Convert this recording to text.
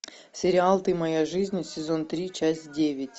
сериал ты моя жизнь сезон три часть девять